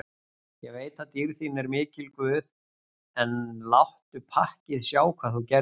Ég veit að dýrð þín er mikil guð, en láttu pakkið sjá hvað þú gerðir.